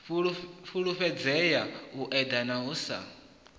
fhulufhedzea u eḓana u sa